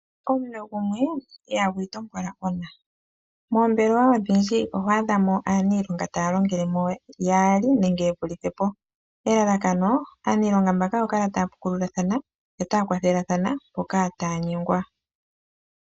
Omuwne gumwe ihagu itongola ona, moombelewa odhindji oho adha mo aaniilonga ta longele mo yaali nenge ye vulithe po elalakano aanilonga mbano ya kale taya pukululathana etaya kwathelathana mpoka taya nyengwa.